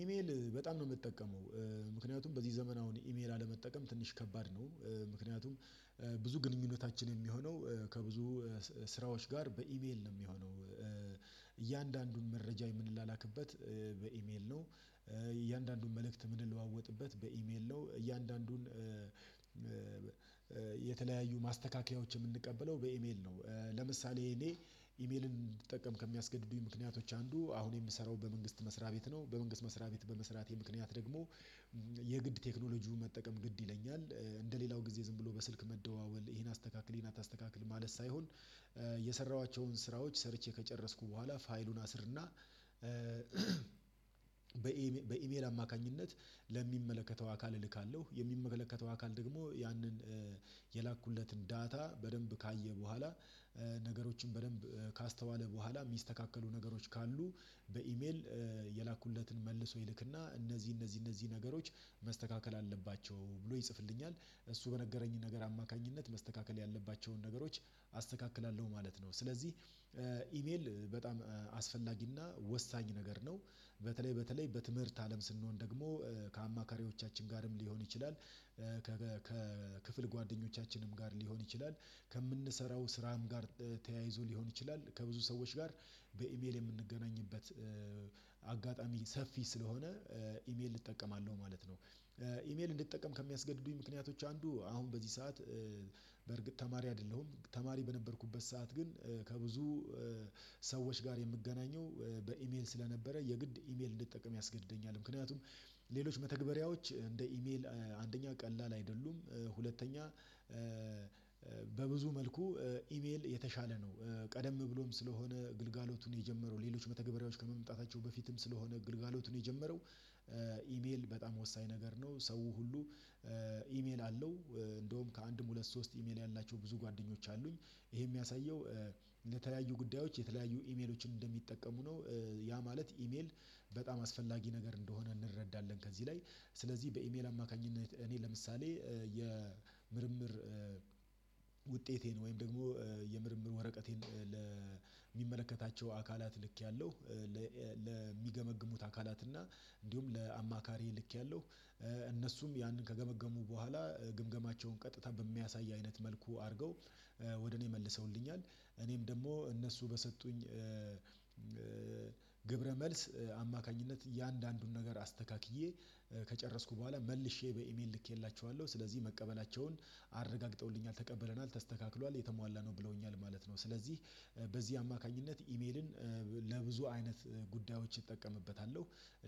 ኢሜል በጣም ነው የምጠቀመው ምክንያቱም በዚህ ዘመን አሁን ኢሜል አለመጠቀም ትንሽ ከባድ ነው። ምክንያቱም ብዙ ግንኙነታችን የሚሆነው ከብዙ ስራዎች ጋር በኢቤል ነው የሚሆነው እያንዳንዱን መረጃ የምንላክበት በኢሜል ነው። እያንዳንዱን መልእክት ምን ልዋወጥበት በኢሜል ነው እያንዳንዱን የተለያዩ ማስተካከያዎች የምንቀበለው በኢሜል ነው። ለምሳሌ እኔ ኢሜልን እንድጠቀም ከሚያስገድዱኝ ምክንያቶች አንዱ አሁን የምሰራው በመንግስት መስሪያ ቤት ነው በመንግስት መስሪያ ቤት በመስራቴ ምክንያት ደግሞ የግድ ቴክኖሎጂውን መጠቀም ግድ ይለኛል። እንደሌላው ጊዜ ዝም ብሎ በስልክ መደዋወል ይሄን አስተካክል ይሄን አታስተካክል ማለት ሳይሆን የሰራኋቸውን ስራዎች ሰርቼ ከጨረስኩ በኋላ ፋይሉን አስርና በኤም በኢሜል አማካኝነት ለሚመለከተው አካል እልካለሁ። የሚመለከተው አካል ደግሞ ያንን የላኩለትን ዳታ በደንብ ካየ በኋላ ነገሮችን በደንብ ካስተዋለ በኋላ የሚስተካከሉ ነገሮች ካሉ በኢሜል የላኩለትን መልሶ ይልክና እነዚህ እነዚህ እነዚህ ነገሮች መስተካከል አለባቸው ብሎ ይጽፍልኛል። እሱ በነገረኝን ነገር አማካኝነት መስተካከል ያለባቸውን ነገሮች አስተካክላለሁ ማለት ነው። ስለዚህ ኢሜል በጣም አስፈላጊና ወሳኝ ነገር ነው። በተለይ በተለይ በትምህርት አለም ስንሆን ደግሞ ከአማካሪዎቻችን ጋርም ሊሆን ይችላል። ከክፍል ጓደኞቻችንም ጋር ሊሆን ይችላል። ከምንሰራው ስራም ጋር ተያይዞ ሊሆን ይችላል ከብዙ ሰዎች ጋር በኢሜል የምንገናኝበት አጋጣሚ ሰፊ ስለሆነ ኢሜል እጠቀማለሁ ማለት ነው። ኢሜል እንድትጠቀም ከሚያስገድዱኝ ምክንያቶች አንዱ አሁን በዚህ ሰዓት በርግጥ ተማሪ አይደለሁም ተማሪ በነበርኩበት ሰዓት ግን ከብዙ ሰዎች ጋር የምገናኘው በኢሜል ስለነበረ የግድ ኢሜል እንድትጠቀም ያስገድደኛል። ምክንያቱም ሌሎች መተግበሪያዎች እንደ ኢሜል አንደኛ ቀላል አይደሉም ሁለተኛ በብዙ መልኩ ኢሜል የተሻለ ነው። ቀደም ብሎም ስለሆነ ግልጋሎቱን የጀመረው ሌሎች መተግበሪያዎች ከመምጣታቸው በፊትም ስለሆነ ግልጋሎቱን የጀመረው ኢሜል በጣም ወሳኝ ነገር ነው። ሰው ሁሉ ኢሜል አለው። እንደውም ከአንድም ሁለት ሶስት ኢሜል ያላቸው ብዙ ጓደኞች አሉኝ ይሄ የሚያሳየው ለተለያዩ ጉዳዮች የተለያዩ ኢሜሎችን እንደሚጠቀሙ ነው። ያ ማለት ኢሜል በጣም አስፈላጊ ነገር እንደሆነ እንረዳለን። ከዚህ ላይ ስለዚህ በኢሜል አማካኝነት እኔ ለምሳሌ የምርምር ውጤቴን ወይም ደግሞ የምርምር ወረቀቴን ለሚመለከታቸው አካላት ልኬያለሁ። ለሚገመግሙት አካላት እና እንዲሁም ለአማካሪዬ ልኬያለሁ ያንን ከገመገሙ በኋላ ግምገማቸውን ቀጥታ በሚያሳይ አይነት መልኩ አድርገው ወደ እኔ መልሰውልኛል። እኔም ደግሞ እነሱ በሰጡኝ ግብረ መልስ አማካኝነት የአንዳንዱን ነገር አስተካክዬ ከጨረስኩ በኋላ መልሼ በኢሜል ልኬላችኋለሁ ስለዚህ መቀበላቸውን አረጋግጠውልኛል ተቀበለናል ተስተካክሏል የተሟላ ነው ብለውኛል ማለት ነው። ስለዚህ በዚህ አማካኝነት ኢሜልን ለብዙ አይነት ጉዳዮች እጠቀምበታለሁ።